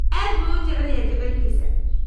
Aad buu u jecel yahay jacaylkiisa